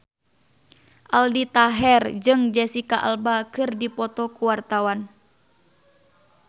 Aldi Taher jeung Jesicca Alba keur dipoto ku wartawan